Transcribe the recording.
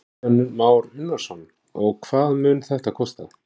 Kristján Már Unnarsson: Og hvað mun þetta kosta?